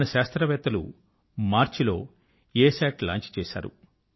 మన శాస్త్రవేత్తలు మార్చ్ లో అసత్ లాంచ్ చేశారు